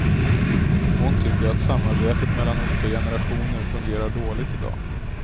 Hon tycker att samarbetet mellan olika generationer fungerar dåligt i dag.